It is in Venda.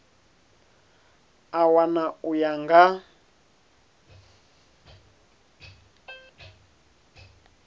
a wana u ya nga